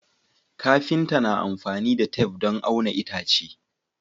Kafinta na amfani da tef don auna itace